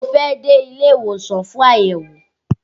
Mo fẹ́ dé ilé ìwòsàn fún àyẹ̀wò